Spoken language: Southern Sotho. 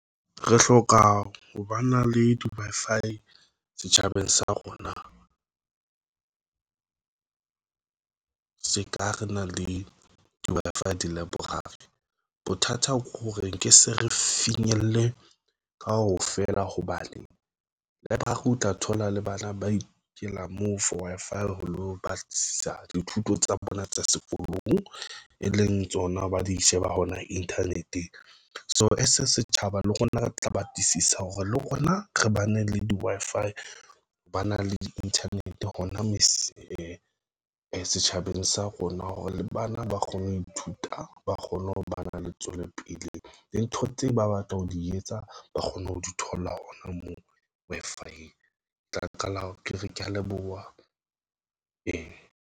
Re hloka ho ba na le di-Wi-Fi setjhabeng sa rona. Se ka re na le di-Wi-Fi di-library bothata ke hore nke se re finyelle kaofela hobane library o tla thola le bana ba ikela moo for Wi-Fi ho lo batlisisa dithuto tsa bona tsa sekolong, e leng tsona ba di sheba hona Internet, so ese setjhaba, le rna re tla batlisisa hore le rona re bane le di Wi-Fi ho ba na le di Internet hona mese setjhabeng sa rona hore le bana ba kgone ho ithuta, ba kgone ho ba na le tswelopele le ntho tseo ba batla ho di etsa, ba kgone ho di thola. Hona moo Wi-Fi tla qala ke re ke a leboha.